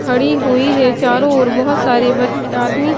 खड़ी हुई है चारों ओर बहुत सारे ब आदमी --